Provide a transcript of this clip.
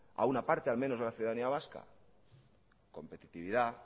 a una parte al menos de la ciudadanía vasca competitividad